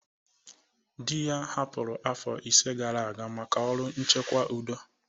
Di ya hapụrụ afọ ise gara aga maka ọrụ nchekwa udo